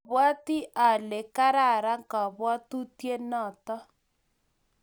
mabwoti ale kararan kabwotutienoto